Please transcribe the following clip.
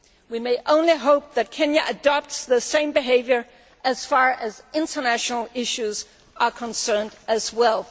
We can but hope that Kenya adopts the same behaviour as far as international issues are concerned as well.